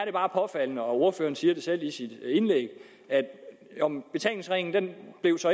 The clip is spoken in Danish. er bare påfaldende og ordføreren siger det selv i sit indlæg at betalingsringen